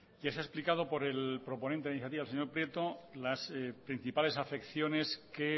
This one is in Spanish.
ya se ha explicado por el proponente de la iniciativa el señor prieto las principales afecciones que